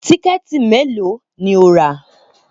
Tíkẹ̀tì mélòó ni o rà